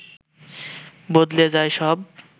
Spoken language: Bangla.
বদলে যায় সব